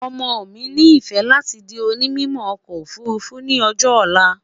ọmọ mí ní ifẹ láti di òní mímọ okò òfurufú ní ọjọ olá